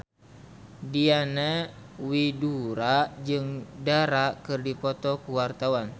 Diana Widoera jeung Dara keur dipoto ku wartawan